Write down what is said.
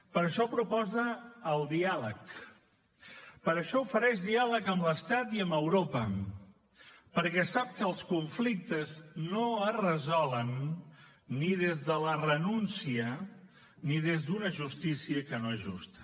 per això proposa el diàleg per això ofereix diàleg amb l’estat i amb europa perquè sap que els conflictes no es resolen ni des de la renúncia ni des d’una justícia que no és justa